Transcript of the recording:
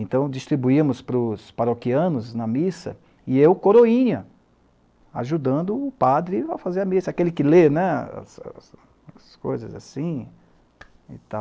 Então, distribuímos para os paroquianos na missa e eu coroinha, ajudando o padre a fazer a missa, aquele que lê né, as as coisas assim e tal.